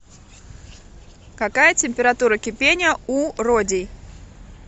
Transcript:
какая температура кипения у родий